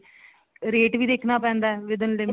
rate ਵੀ ਦੇਖਣਾ ਪੈਂਦਾ with in